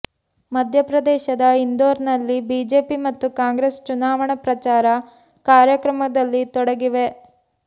ಮಧ್ಯಪ್ರದೇಶದ ಇಂದೋರ್ನಲ್ಲಿ ಬಿಜೆಪಿ ಮತ್ತು ಕಾಂಗ್ರೆಸ್ ಚುನಾವಣಾ ಪ್ರಚಾರ ಕಾರ್ಯಕ್ರಮದಲ್ಲಿ ತೊಡಗಿವೆ